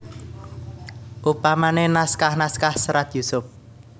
Upamane naskah naskah Serat Yusup